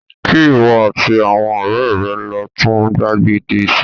Kí ìwọ àti àwọn ọ̀rẹ́ rẹ lọ tún gbàgede ṣe